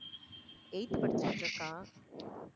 eighth படிச்சிட்டு இருக்கா.